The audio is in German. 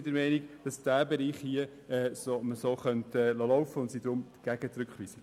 Den Bereich, von dem hier die Rede ist, könnte man aus unserer Sicht jedoch so laufen lassen.